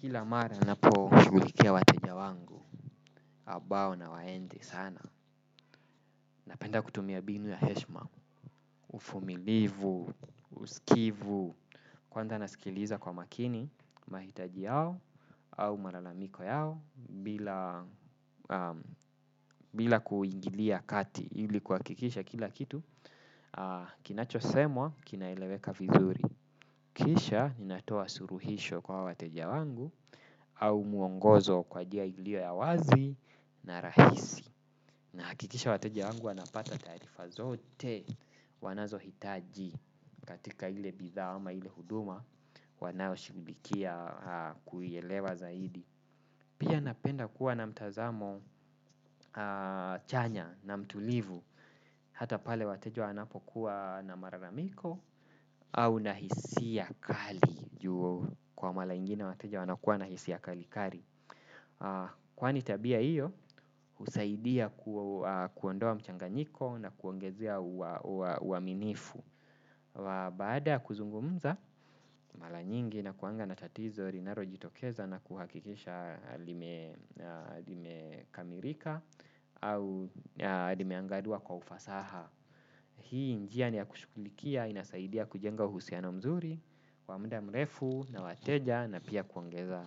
Kila mara napo shugulikia wateja wangu, abao na waende sana, napenda kutumia binu ya heshma, ufumilivu, uskivu, kwanza nasikiliza kwa makini, mahitaji yao, au malalamiko yao mbila, bila kuingilia kati, ilikuakikisha kila kitu, kinachosemwa, kinaeleweka vizuri. Kisha ninatoa suruhisho kwa hawa wateja wangu au muongozo kwa jia ilio ya wazi na rahisi. Nahakikisha wateja wangu wanapata taarifa zote wanazo hitaji katika ile bidhaa ama ile huduma wanao shugulikia kuielewa zaidi. Pia napenda kuwa na mtazamo chanya na mtulivu. Hata pale wateja wanapo kuwa na mararamiko au na hisia kali juu kwa mala ingine wateja wanakuwa nahisi ya kali kari. Kwani tabia iyo husaidia kuondoa mchanganyiko na kuongezea uaminifu wa baada ya kuzungumza la nyingi nakuanga na tatizo rinaro jitokeza na kuhakikisha lime kamirika au limeangaliwa kwa ufasaha. Hii njia ni ya kushukulikia inasaidia kujenga uhusiano mzuri wa mda mrefu na wateja na pia kuongeza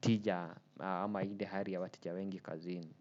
tija ama ile hari ya wateja wengi kazini.